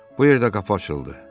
Bu yerdə qapı açıldı.